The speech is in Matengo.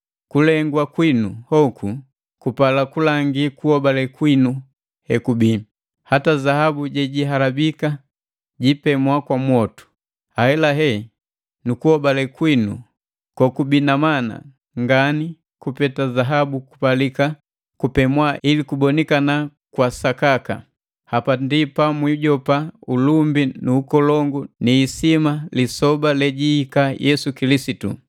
kulegwa kwinu hoku kupala kulangi kuhobale kwinu hekubii. Hata zaabu jejihalabika, jiipemwa kwa mwotu, ahelahela nu kuhobale kwinu, kokubii na mana ngani kupeta zahabu kupalika kupemwa ili kubonikana kwa sakaka. Hapa ndi pamwijopa ulumbi nu ukolongu ni isima lisoba lejihika Yesu Kilisitu.